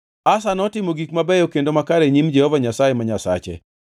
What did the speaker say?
Asa notimo gik mabeyo kendo makare e nyim Jehova Nyasaye ma Nyasache.